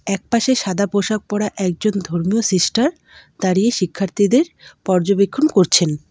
একপাশে সাদা পোশাক পরা একজন ধর্মীয় সিস্টার দাঁড়িয়ে শিক্ষার্থীদের পর্যবেক্ষণ করছেন।